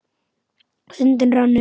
Stundin rann upp.